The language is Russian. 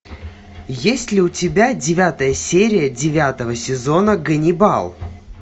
есть ли у тебя девятая серия девятого сезона ганнибал